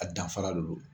A danfara de don